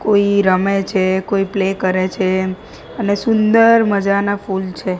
કોઈ રમે છે કોઈ પ્લે કરે છે અને સુંદર મજાના ફૂલ છે.